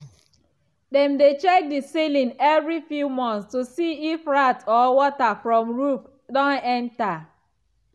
dem dey check the ceiling every few months to see if rat or water from roof don enter.